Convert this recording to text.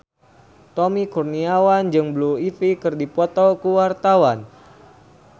Tommy Kurniawan jeung Blue Ivy keur dipoto ku wartawan